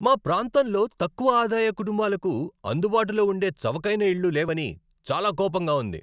మా ప్రాంతంలో తక్కువ ఆదాయ కుటుంబాలకు అందుబాటులో ఉండే చవకైన ఇళ్ళు లేవని చాలా కోపంగా ఉంది.